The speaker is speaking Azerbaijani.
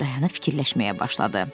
Dayanıb fikirləşməyə başladı.